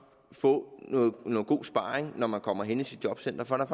få noget god sparring når man kommer hen i sit jobcenter for der